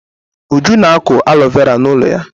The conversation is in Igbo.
Uju na-akụ alo vera n'ụlọ ya.